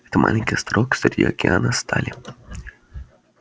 это маленький островок среди океана стали